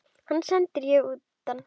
Hann sendi ég utan.